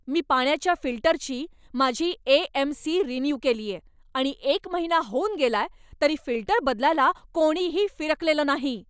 मी पाण्याच्या फिल्टरची माझी ए. एम. सी. रिन्यू केलीये, आणि एक महिना होऊन गेलाय तरी फिल्टर बदलायला कोणीही फिरकलेलं नाही.